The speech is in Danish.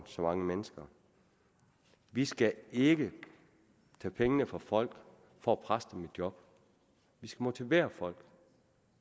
så mange mennesker vi skal ikke tage pengene fra folk for at presse dem ud i job vi skal motivere folk